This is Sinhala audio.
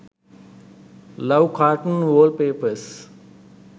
love cartoon wallpapers